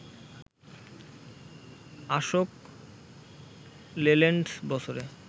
Ashok Leyland বছরে